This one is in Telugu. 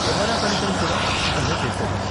కెమెరా పనితనం కూడా అద్భుతంగా చేసారు.